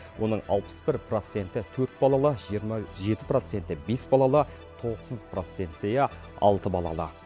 оның алпыс бір проценті төрт балалы жиырма жеті проценті бес балалы тоғыз проценттейі алты балалы